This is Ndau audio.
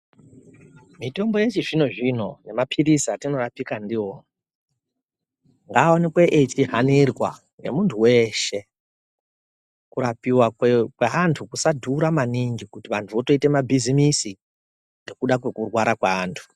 Mitombo yechizvino zvino nemaprizi atinorapika ndiwo ngaonekwe aihanirwa ngemuntu weshe kurapiwa kweantu kusadhura maningi kuti vantu wotoite mabhizimisi ngekuda kwekurwara kweantu.